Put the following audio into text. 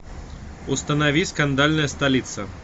установи скандальная столица